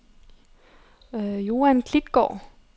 Joan Klitgaard